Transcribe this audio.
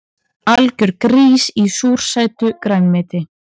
Algjör grís í súrsætu grænmeti